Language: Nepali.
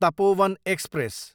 तपोवन एक्सप्रेस